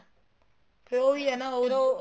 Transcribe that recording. ਫ਼ੇਰ ਉਹੀ ਹੈ ਨਾ ਉਹ ਉਹ